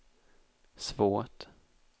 svårt